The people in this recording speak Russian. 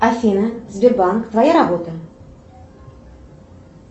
афина сбербанк твоя работа